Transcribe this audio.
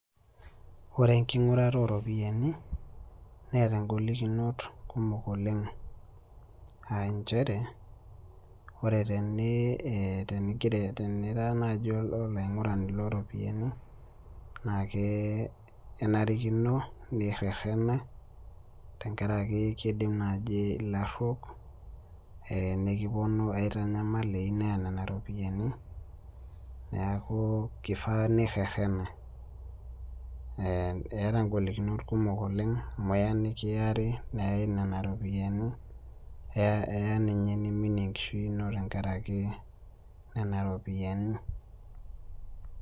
Ore enking'urata oropiyiani neeta ingolikinot kumok oleng anchere ore tene eh tenigira tenira naaji olaing'urani loropiyiani naake enarikino nirrerena tenkarake kidim naaji eh ilarruok eh nekiponu aitanyamal eiu neya nena ropiyiani niaku kifaa nirrerena eh eeta ingolikinot kumok oleng amu eya nekiari neyai nena ropiyiani eh eya ninye niminie enkishui ino tenkaraki nena ropiyiani.